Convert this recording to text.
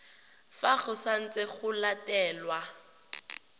fa go santse go letilwe